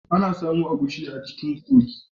Ana samon agushi a cikin gogi.